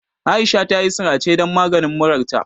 Aisha tayi sirace dan maganin murarta.